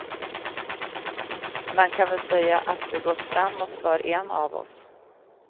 Man kan väl säga att det gått framåt för en av oss.